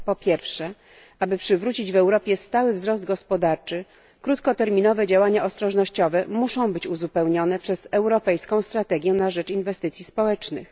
Po pierwsze, aby przywrócić w Europie stały wzrost gospodarczy, krótkoterminowe działania ostrożnościowe muszą zostać uzupełnione europejską strategią na rzecz inwestycji społecznych.